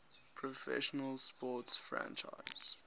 professional sports franchise